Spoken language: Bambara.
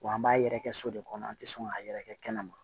Wa an b'a yɛrɛ kɛ so de kɔnɔ an tɛ sɔn k'a yɛrɛkɛ kɛnɛma